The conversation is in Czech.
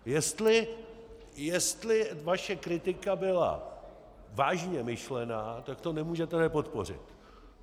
Jestli vaše kritika byla vážně myšlená, tak to nemůžete nepodpořit.